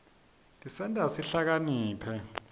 tisenta sihlakaniphe